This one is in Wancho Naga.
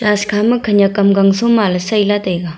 church khama gangjop ang sai lah taiga.